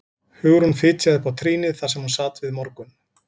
Hugrún fitjaði upp á trýnið þar sem hún sat við morgun